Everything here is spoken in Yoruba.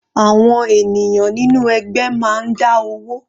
Àwọn ènìyàn nínú ẹgbẹ́ máa ń dá owó.